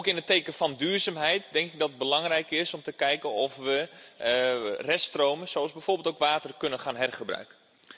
In het teken van duurzaamheid lijkt het mij belangrijk om te kijken of we reststromen, zoals bijvoorbeeld ook water, kunnen gaan hergebruiken.